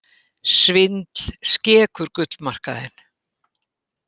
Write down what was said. Svindl skekur gullmarkaðinn